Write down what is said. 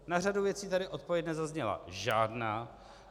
Na řadu věcí tady odpověď nezazněla žádná.